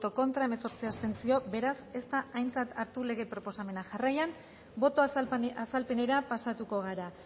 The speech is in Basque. contra hemezortzi abstentzio beraz ez da aintzat hartu lege proposamena jarraian boto azalpenera pasatuko gara